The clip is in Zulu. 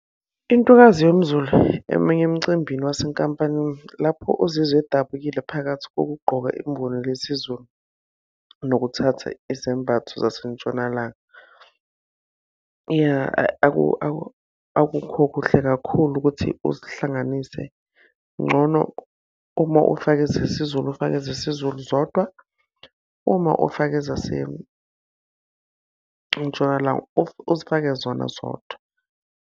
Intokazi yomZulu emenywe emcimbini wasenkampanini, lapho uzizwa edabukile phakathi kokugqoka lesiZulu, nokuthatha izembatho zasentshonalanga. Ya, akukho kuhle kakhulu ukuthi uzihlanganise, ngcono uma ufake ezesiZulu, ufake ezesiZulu zodwa. Uma ufake ezaseNtshonalanga uzifake zona zodwa.